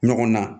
Ɲɔgɔn na